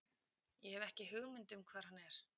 Ég hef ekki hugmynd um hvar hann er.